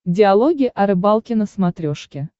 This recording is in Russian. диалоги о рыбалке на смотрешке